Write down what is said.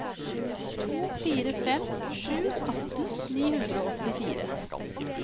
to fire fem sju atten ni hundre og åttifire